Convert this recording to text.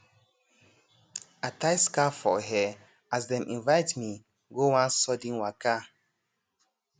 i tie scarf for hair as dem invite me go one sudden waka